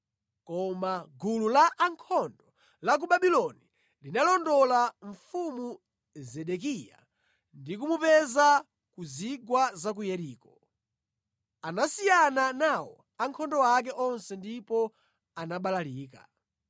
koma gulu la ankhondo la ku Babuloni linalondola mfumu Zedekiya ndi kumupeza mʼchigwa cha ku Yeriko. Ankhondo onse anamusiya yekha nabalalika.